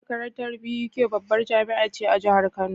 Makarantar BUK babbar jamia ce ta jahar kano